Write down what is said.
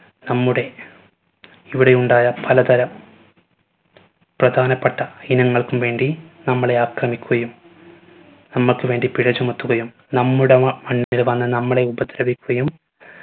നമ്മുടെ ഇവിടെയുണ്ടായ പലതര പ്രധാനപ്പെട്ട ഇനങ്ങൾക്കും വേണ്ടി നമ്മളെ ആക്രമിക്കുകയും നമ്മക്ക് വേണ്ടി പിഴ ചുമത്തുകയും നമ്മുടെ വ മണ്ണില് വന്ന് നമ്മളെ ഉപദ്രവിക്കുകയും